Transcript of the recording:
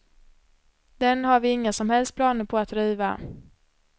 Den har vi inga som helst planer på att riva.